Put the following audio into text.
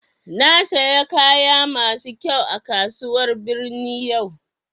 Na siya kaya masu kyau a kasuwar birni yau